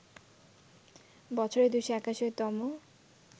বছরের ২৮১ তম